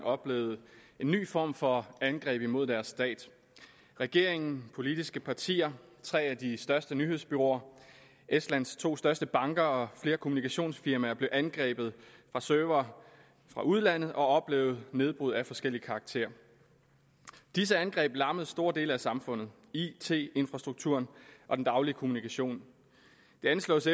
oplevede en ny form for angreb imod deres stat regeringen politiske partier tre af de største nyhedsbureauer estlands to største banker og flere kommunikationsfirmaer blev angrebet fra servere fra udlandet og oplevede nedbrud af forskellig karakter disse angreb lammede store dele af samfundet it infrastrukturen og den daglige kommunikation det anslås